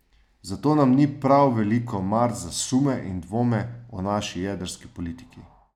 Zato nam ni prav veliko mar za sume in dvome o naši jedrski politiki.